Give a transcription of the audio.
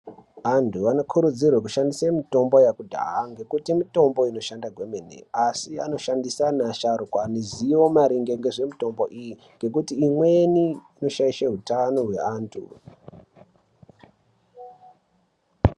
Antu anokurudzirwa kushandisa mitombo yakudhaya ngekuti mitombo inoshanda kwemene. Asi anoshandisa nasharuka anezivo maringe nezvemitombo iyi ngekuti imweni inoshaishe utano hweantu.